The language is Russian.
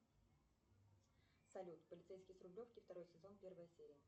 салют полицейский с рублевки второй сезон первая серия